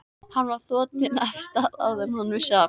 Hann var þotinn af stað áður en hann vissi af.